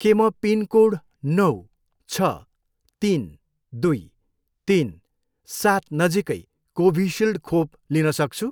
के म पिनकोड नौ, छ, तिन, दुई, तिन, सात नजिकै कोभिसिल्ड खोप लिन सक्छु?